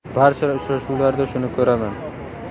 Barcha uchrashuvlarda shuni ko‘raman.